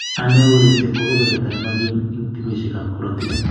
Aneurysm ko kebeberta nemogim en tubisyiek ab korotik